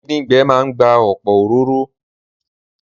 Díndín gbẹ máa n gba ọ̀pọ̀ òróró